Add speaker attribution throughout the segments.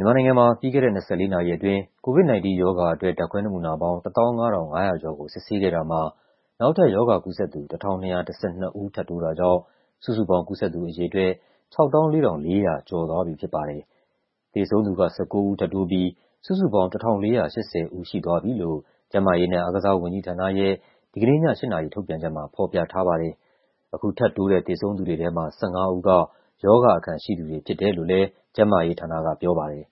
Speaker 1: မြန်မာနိုင်ငံမှာ ပြီးခဲ့တဲ့ ၂၄ နာရီအတွင်း COVID-19 ရောဂါအတွက် ဓာတ်ခွဲနမူနာပေါင်း ၁၅,၅၃၄ ခုကို စစ်ဆေးခဲ့တာမှာ နောက်ထပ် ရောဂါကူးစက်သူ ၁,၂၁၂ ဦး ထပ်တိုးတာကြောင့် စုစုပေါင်း ကူးစက်သူအရေအတွက် ၆၄,၄၅၃ ဦး ရှိသွားပြီဖြစ်ပါတယ်။ သေဆုံးသူက ၁၉ ဦး ထပ်တိုးပြီး စုစုပေါင်း ၁,၄၈၀ ဦးရှိသွားပြီလို့ ကျန်းမာရေးနဲ့အားကစားဝန်ကြီးဌာနရဲ့ ဒီကနေ့ည ၈ နာရီထုတ်ပြန်ချက်မှာ ဖော်ပြထားပါတယ်။ အခုထပ်တိုးတဲ့ သေဆုံးသူတွေထဲမှာ ၁၅ ဦးက ရောဂါအခံရှိသူတွေဖြစ်တယ်လို့ ကျန်းမာရေးဌာနကပြောပါတယ်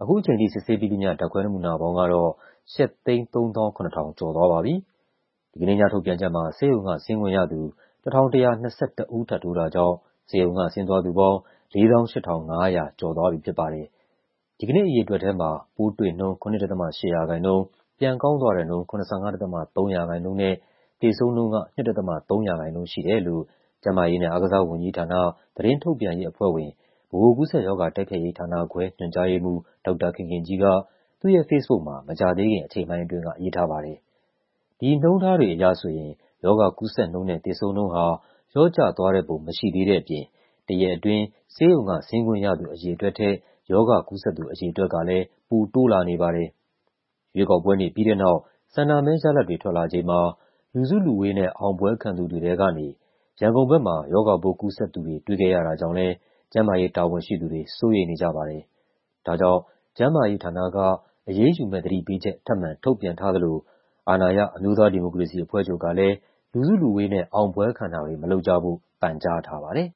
Speaker 1: ။ အခုချိန်ထိ စစ်ဆေးပြီးသမ ျှ ဓာတ်ခွဲနမူနာပေါင်းကတော့ ၈၃၆,၆၉၇ ခု ရှိသွားပါပြီ။ ဒီကနေ့ညထုတ်ပြန်ချက်မှာ ဆေးရုံကဆင်းခွင့်ရသူ ၁,၁၂၁ ဦးထပ်တိုးတာကြောင့် ဆေးရုံကဆင်းသွားသူပေါင်း ၄၈,၅၃၂ ဦး ရှိသွားပြီဖြစ်ပါတယ်။ ဒီကနေ့ အရေအတွက်ထဲမှာ ပိုးတွေနှုန်း ၇.၈ ရာခိုင်နှုန်း၊ ပြန်ကောင်းသွားတဲ့နှုန်း ၇၅.၃ ရာခိုင်နှုန်းနဲ့ သေဆုံးနှုန်းက ၂.၃ ရာခိုင်နှုန်း ရှိတယ်လို့ ကျန်းမာရေးနဲ့ အားကစားဝန်ကြီးဌာန၊ သတင်းထုတ်ပြန်ရေးအဖွဲ့ဝင်၊ ဗဟိုကူးစက်ရောဂါ တိုက်ဖျက်ရေးဌာနခွဲ ညွှန်ကြားရေးမှူး ဒေါက်တာခင်ခင်ကြီးက သူ့ရဲ့ ဖေ့စ်ဘုတ်မှာ မကြာသေးခင် အချိန်ပိုင်းအတွင်းက ရေးထားပါတယ်။ ဒီနှုန်းထားတွေအရဆိုရင် ရောဂါကူးစက်နှုန်းနဲ့ သေဆုံးနှုန်းဟာ လျော့ကျသွားတဲ့ ပုံမရှိသေးတဲ့အပြင် တရက်အတွင်း ဆေးရုံက ဆင်းခွင့်ရသူအရေအတွက်ထက် ရောဂါကူးစက်သူ အရေအတွက်ကလည်း ပိုတိုးလာနေပါတယ်။ ရွေးကောက်ပွဲနေ့ပြီးတဲ့နောက် ဆန္ဒမဲရလဒ်တွေ ထွက်လာချိန်မှာ လူစုလူဝေးနဲ့ အောင်ပွဲခံသူတွေထဲကနေ ရန်ကုန်ဘက်မှာ ရောဂါပိုးကူးစက်သူတွေ တွေ့ခဲ့ရတာကြောင့်လည်း ကျန်းမာရေးတာဝန်ရှိသူတွေ စိုးရိမ်နေကြပါတယ်။ ဒါကြောင့် ကျန်းမာရေးဌာနက အရေးယူမယ့်သတိပေးချက် ထပ်မံထုတ်ပြန်ထားသလို အာဏာရ အမျိုးသားဒီမိုကရေစီအဖွဲ့ချုပ်ကလည်း လူစုလူဝေးနဲ့ အောင်ပွဲခံတာတွေ မလုပ်ကြဖို့ ပန်ကြားထားပါတယ်။